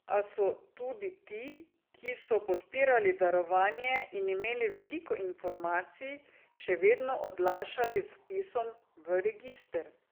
A so tudi ti, ki so podpirali darovanje in imeli veliko informacij, še vedno odlašali z vpisom v register.